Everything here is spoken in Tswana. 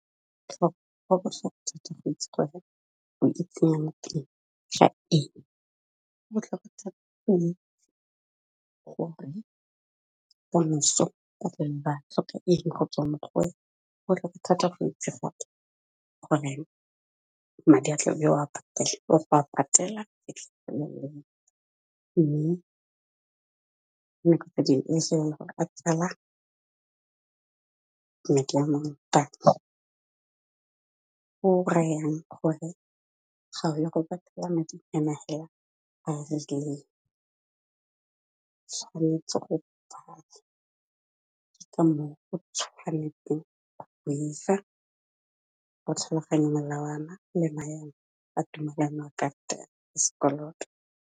Go botlhokwa thata go itse gore o itsenya mo teng ga eng, go botlhokwa thata gore ka moso ba tlhoka eng go tswa mo go wena. Go botlhokwa thata go itse goreng madi a tla be o a patela, fa o a patela fitlhelle mme gore a tsala madi a mang goreng, gore ga o ya go patela madi tshwanetse go ke ka moo o tshwanesteng go tlhaloganya melawana le maemo a tumelano ya karata ya sekoloto.